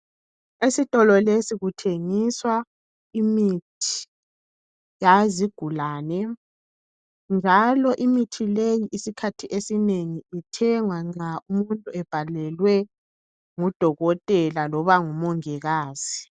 Esitolo lesi kuthengiswa imithi yazigulane, njalo imithi leyi uzikhathi ezinengi, ithengwa nxa imuntu ebhalelwe ngudokotela loba umongikazi.